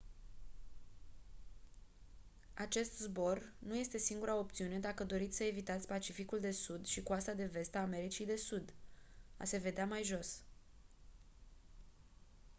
acest zbor nu este singura opțiune dacă doriți să evitați pacificul de sud și coasta de vest a americii de sud. a se vedea mai jos